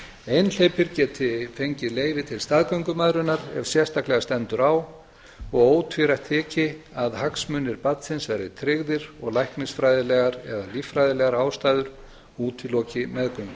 einhleypir geti fengið leyfi til staðgöngumæðrunar ef sérstaklega stendur á og ótvírætt þyki að hagsmunir barnsins verði tryggðir og læknisfræðilegar eða líffræðilegar ástæður útiloki meðgöngu